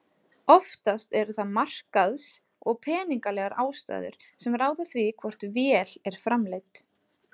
Oftast eru það markaðs- og peningalegar ástæður sem ráða því hvort vél er framleidd.